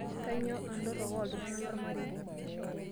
Kainyoo entorok oltungana lolmarei?